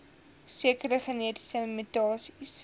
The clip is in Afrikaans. sekere genetiese mutasies